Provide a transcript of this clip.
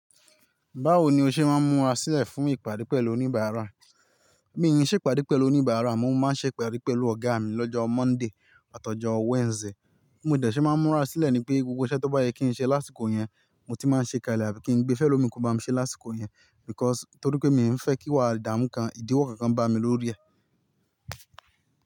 Báwo ni o ṣe máa ń múra sílẹ̀ fún ìpàdé pẹ̀lú oníbàárà? Mi ò ṣèpàdé pẹ̀lú oníbàárà, mo máa ń ṣèpàdé pẹ̀lú ọ̀gá mi lọ́jọ́ Monday àtọjọ Wednesday. Mo dẹ̀ ṣé máa ń múra sílẹ̀ ni pé gbogbo iṣẹ́ tó bá yẹ kí n ṣe lásìkò yẹn, mo ti máa ń ṣe kálẹ̀ àbí kí n gbé fẹ́lọ́mi kó bá mi ṣe lásìkò yẹn because torí pé mi ò fẹ́ kí wá ìdáàmú kàn ìdíwọ́ kankan bá mi lórí rẹ̀.